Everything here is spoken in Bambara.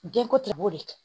Denko tɛ b'o de kɛ